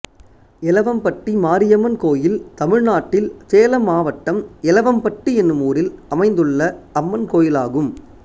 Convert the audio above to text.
எலவம்பட்டி மாரியம்மன் கோயில் தமிழ்நாட்டில் சேலம் மாவட்டம் எலவம்பட்டி என்னும் ஊரில் அமைந்துள்ள அம்மன் கோயிலாகும்